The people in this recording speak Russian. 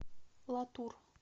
латур